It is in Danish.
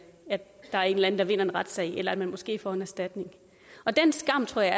at der er en eller anden der vinder en retssag eller at man måske får en erstatning og den skam tror jeg